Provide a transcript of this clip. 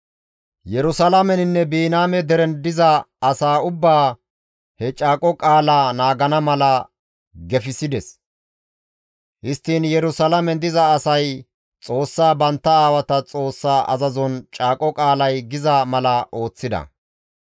Yerusalaameninne Biniyaame deren diza asaa ubbaa he Caaqo Qaalaa naagana mala gefissides; histtiin Yerusalaamen diza asay Xoossaa bantta aawata Xoossa azazon Caaqo Qaalay giza mala ooththida.